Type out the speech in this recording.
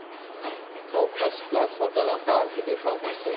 બહુ first class hotel આમ બહાર થી દેખાવ માં છે.